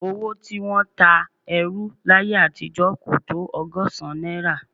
Owó tí wọ́n ń ta ẹrú láyé àtijọ́ kò tó ọgọ́sán náírà